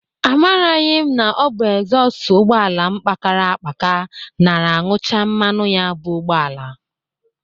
Amaraghị m na ọ bụ exhọst ụgbọala m kpakara akpaka nara añụcha mmanụ ya bụ ụgbọala.